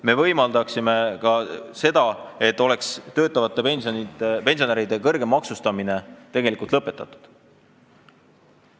Meie võimaldaksime ka seda, et töötavate pensionäride kõrgem maksustamine lõpetataks.